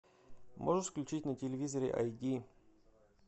можешь включить на телевизоре ай ди